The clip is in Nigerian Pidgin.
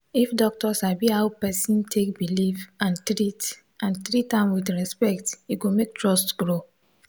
if doctor sabi how person take believe and treat and treat am with respect e go make trust grow.